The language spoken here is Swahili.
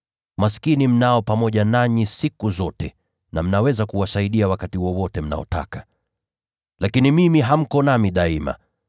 Maskini mtakuwa nao siku zote na mnaweza kuwasaidia wakati wowote mnaotaka. Lakini mimi hamtakuwa nami siku zote.